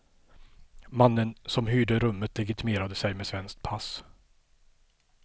Mannen som hyrde rummet legitimerade sig med svenskt pass.